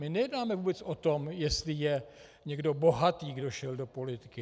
My nejednáme vůbec o tom, jestli je někdo bohatý, kdo šel do politiky.